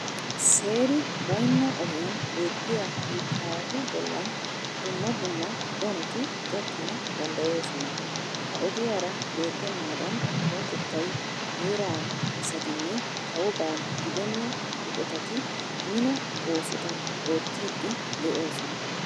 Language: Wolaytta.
Seeri baynna ogiyan betiya biittaawatu bollan dumma dumma danoti gakkana danddayoosona. Ha ogiyara betennaadan kawotettay, heeraa asatinne kawoba gidenna eqotati mino oosota oottiiddi de'oosona.